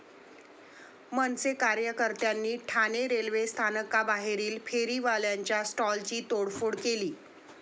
मनसे कार्यकर्त्यांनी ठाणे रेल्वे स्थानकाबाहेरील फेरीवाल्यांच्या स्टॉल्सची तोडफोड केली.